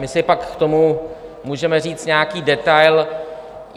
My si pak k tomu můžeme říct nějaký detail.